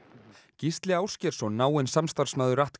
Gísli Ásgeirsson náinn samstarfsmaður